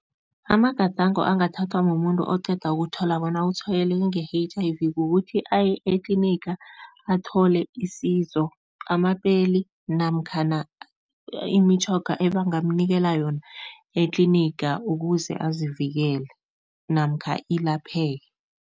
Amagadango angathathwa mumuntu oqeda ukuthola bona utshwayeleke nge-H_I_V kukuthi aye etliniga, athole isizo, amapeli namkhana imitjhoga ebangamnikela yona etliniga ukuze azivikele namkha ilapheke.